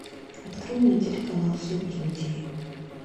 открой мне телеканал супер на тиви